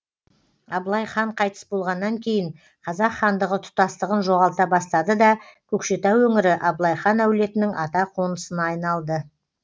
абылай хан қайтыс болғаннан кейін қазақ хандығы тұтастығын жоғалта бастады да көкшетау өңірі абылай хан әулетінің ата қонысына айналды